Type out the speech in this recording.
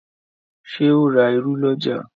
Ṣe o rá ìrù l'ọja?